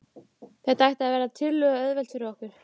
Þetta ætti að verða tiltölulega auðvelt fyrir okkur.